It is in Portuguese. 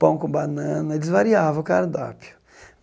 Pão com banana, eles variavam o cardápio.